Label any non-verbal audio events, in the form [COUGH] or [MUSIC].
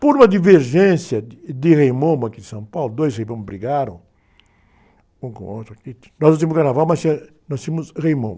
Por uma divergência de, de Rei Momo aqui de São Paulo, dois Rei Momos brigaram, um com o outro aqui, [UNINTELLIGIBLE] nós não tínhamos Carnaval, mas tinha, nós tínhamos Rei Momo.